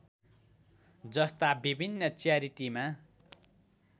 जस्ता विभिन्न च्यारिटिमा